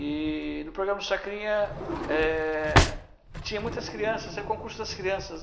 E no programa do Chacrinha, eh, tinha muitas crianças, era o concurso das crianças.